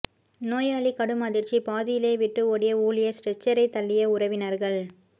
நோயாளி கடும் அதிர்ச்சி பாதியிலேயே விட்டு ஓடிய ஊழியர் ஸ்ட்ரெச்சரை தள்ளிய உறவினர்கள்